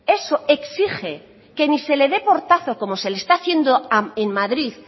eso exige que ni se le dé portazo como se le está haciendo en madrid